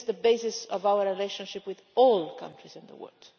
This is the basis of our relationship with all countries in the world.